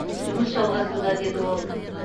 жұмыс жалғасуда деді ол